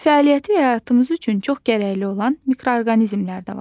Fəaliyyəti həyatımız üçün çox gərəkli olan mikroorqanizmlər də var.